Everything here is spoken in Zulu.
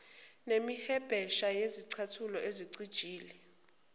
nemihwebesha yezicathulo ezicijile